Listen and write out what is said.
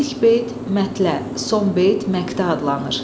İlk beyt mətlə, son beyt məqtə adlanır.